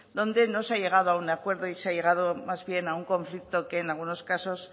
donde no se ha llegado a un acuerdo y se ha llegado más bien a un conflicto que en algunos casos